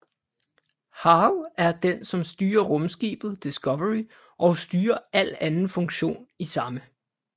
HAL er den som styrer rumskibet Discovery og styrer al anden funktion i samme